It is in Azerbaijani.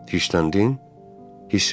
Hirsləndin, hiss eləyirəm.